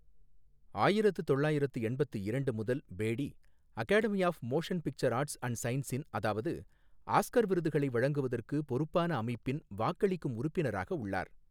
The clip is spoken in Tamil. ஆயிரத்து தொள்ளாயிரத்து எண்பத்து இரண்டு முதல் Bedi, Academy of Motion Picture Arts and சயின்சஸின் அதாவது ஆஸ்கர் விருதுகளை வழங்குவதற்கு பொறுப்பான அமைப்பின் வாக்களிக்கும் உறுப்பினராக உள்ளார்.